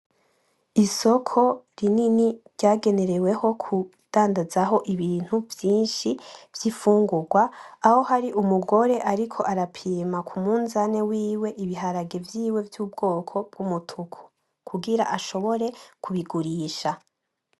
Isoko rinini ryagewereho kundadazaho ibintu vyinshi vy'imfungurwa aho hari umugore ariko arapima kumuzane wiwe ibiharage vyiwe vy'ubwoko bw'umutuku kugira ashobore kubigurisha.